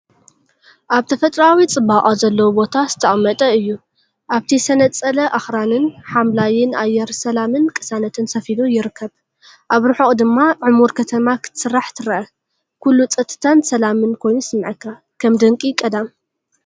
ኣብ ተፈጥሮኣዊ ጽባቐ ዘለዎ ቦታ ዝተቐመጠ እዩ፤ ኣብቲ ዝተነጸለ ኣኽራንን ሓምላይን ኣየር ሰላምን ቅሳነትን ሰፊኑ ይርከብ። ኣብ ርሑቕ ድማ ዕሙር ከተማ ክትስራሕ ትረአ፤ ኩሉ ጸጥታን ሰላምን ኮይኑ ይስምዓካ፣ ከም ድንቂ ቀዳም።